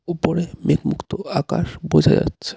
উপরে মেঘমুক্ত আকাশ বোঝা যাচ্ছে.